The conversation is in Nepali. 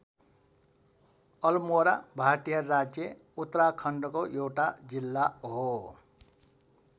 अलमोरा भारतीय राज्य उत्तराखण्डको एउटा जिल्ला हो।